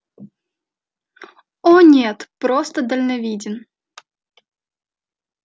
о нет просто дальновиден